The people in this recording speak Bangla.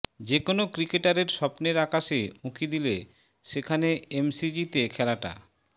যেকোনো ক্রিকেটারের স্বপ্নের আকাশে উঁকি দিলে সেখানে এমসিজিতে খেলাটা